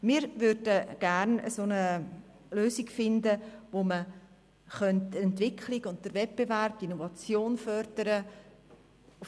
Einerseits fänden wir gerne eine Lösung, mit der man die Entwicklung, den Wettbewerb und die Innovation fördern könnte.